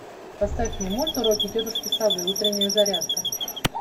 поставь мне мульт уроки тетушки совы утренняя зарядка